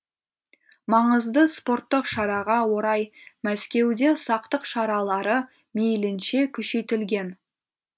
маңызды спорттық шараға орай мәскеуде сақтық шаралары мейлінше күшейтілген